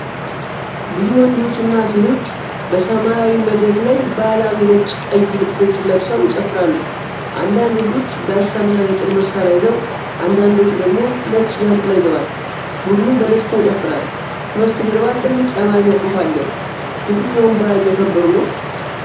ብዙ ወንዶችና ሴቶች በሰማያዊ መድረክ ላይ ባህላዊ ነጭና ቀይ ልብሶችን ለብሰው ይጨፍራሉ። አንዳንድ ወንዶች ጋሻና የጦር መሳሪያ ይዘው፣ አንዳንዶቹ ደግሞ ነጭ ዣንጥላ ይዘዋል። ቡድኑ በደስታ ይጨፍራል፤ ከበስተጀርባ ትልቅ የአማርኛ ጽሑፍ አለ። የትኛውን በዓል እያከበሩ ነው?